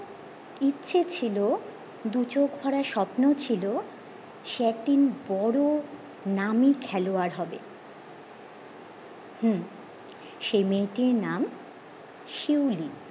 ইচ্ছে ছিল দুচোখ ভরা স্বপ্ন ছিল সে একদিন বড়ো নামি খেলোয়াড় হবে হম সেই মেয়েটির নাম শিউলি